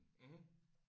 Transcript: Mhm